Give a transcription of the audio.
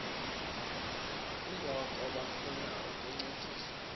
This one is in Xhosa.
kungoko bafuna ukuncediswa